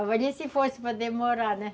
Agora ia se fosse para demorar, né?